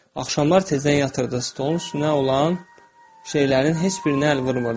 Axşamlar tezdən yatırdı, stolun üstünə olan şeylərin heç birinə əl vurmurdu.